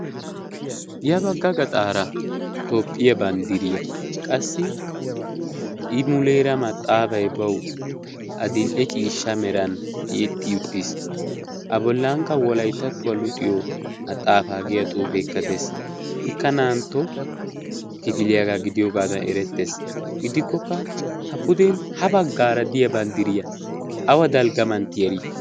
ya bagga gaxaara toophphiyaa banddiriyaa qassi i muleera maxaafai bawu a dil'e ciishsha meran tiyetti uttiis. a bollankka wolaitattuwaa luxiyo maxaafaa giya xoufeekka dees ikka na'an to kifiliyaagaa gidiyoogaadan erettees gidikkokka ha puden ha baggaara diya banddiriyaa awa dalggamantti arii?